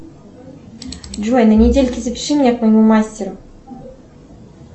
джой на недельке запиши меня к моему мастеру